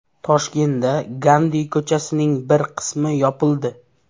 Toshkentda Gandi ko‘chasining bir qismi yopildi.